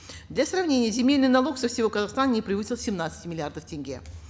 для сравнения земельный налог со всего казахстана не превысил семнадцати миллиардов тенге